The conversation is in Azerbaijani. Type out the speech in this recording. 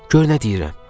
Gör nə deyirəm.